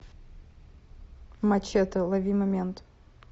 мачете лови момент